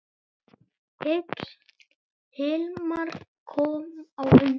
Hilmar kom á undan.